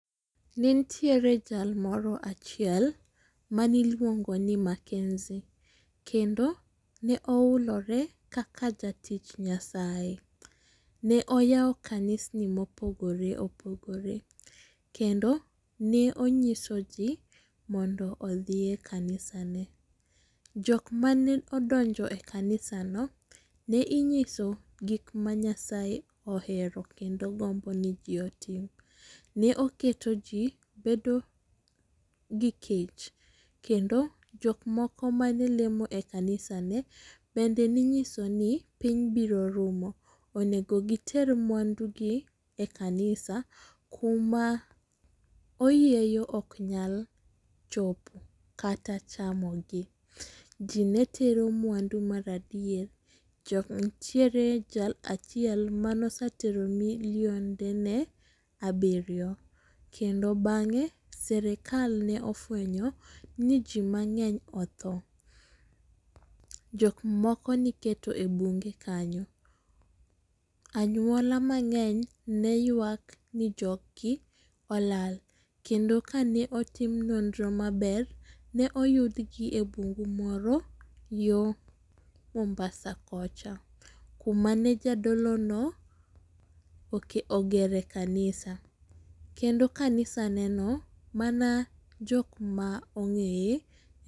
Ne nitiere jal moro achiel mane iluongo ni Makenzi. Kendo ne oHulore kaka jatich nyasaye. Ne oyawo kanisni mo opogore opogore. Kendo ne ongIiso ji mondo odhi e kanisa no. Jok ma ne odonjo e kanisa no ne ingiso gik ma nyasaye ohero kendo gombo ni ji otim. Ne oketo ji bedo gi kech kendo jok moko mane lemo e kanisa ne bende ne inyiso ni piny biro rumo onego gi ter mwandu gi e kanisa kuma oyieyo ok nyal chopo kata chamo gi. Ji ne tero mwandu mar adier, nitiere jal achiel mano osetero ne milionde ne abirio kendo bang'e sirkal ne ofwenyo ni ji mangeny othoo. Jok moko ne iketo e bunge kanyo. Anyuola mangeny ne ywak ni jog gi olal. Kendo ka ne otim nonro maber ne oyud gi e bungu moro yo mombasa kocha. Kuma ne jadolo no ogere kanisa kendo kanisa ne no mana jok ma ongeye.